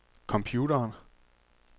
computeren